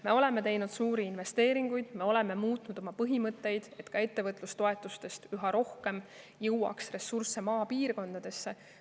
Me oleme teinud suuri investeeringuid, me oleme muutnud oma põhimõtteid, et ka ettevõtlustoetustest üha rohkem jõuaks maapiirkondadesse.